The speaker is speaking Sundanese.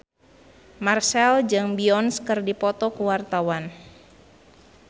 Marchell jeung Beyonce keur dipoto ku wartawan